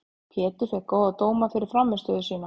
Pétur fékk góða dóma fyrir frammistöðu sína.